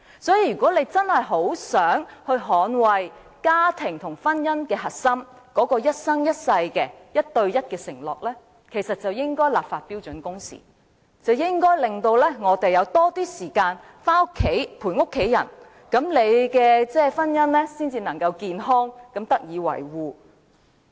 所以，如果大家真的很想捍衞家庭和婚姻的核心、那種一生一世、一對一的承諾，其實便應該就標準工時立法，令我們有較多時間陪伴家人，那麼婚姻才能健康地得以維護。